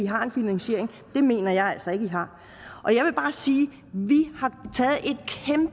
har en finansiering det mener jeg altså ikke man har og jeg vil bare sige